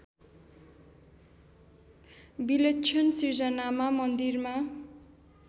विलक्षण सिर्जनामा मन्दिरमा